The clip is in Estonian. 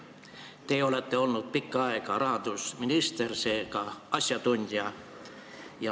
Te olete olnud pikka aega rahandusminister, seega asjatundja.